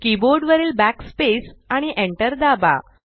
keyboard वरील Backspace आणि enter दाबा